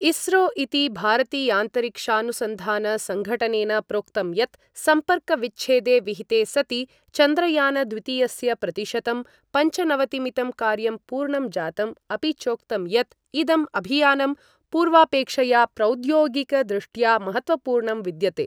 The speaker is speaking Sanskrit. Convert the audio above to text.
इस्रो इति भारतीयान्तरिक्षानुसंधानसंघटनेन प्रोक्तं यत् सम्पर्कविच्छेदे विहिते सति चन्द्रयानद्वितीयस्य प्रतिशतं पञ्चनवतिमितं कार्यं पूर्णं जातम् अपि चोक्तं यत् इदं अभियानं पूर्वापेक्षया प्रौद्योगिकदृष्ट्या महत्त्वपूर्णं विद्यते।